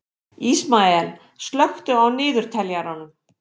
Ísmael, slökktu á niðurteljaranum.